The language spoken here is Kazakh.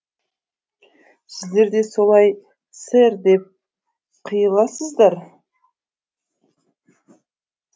сіздерде солай сэр деп қыйыласыздар